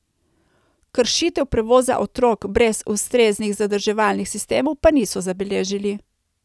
Kršitev prevoza otrok brez ustreznih zadrževalnih sistemov pa niso zabeležili.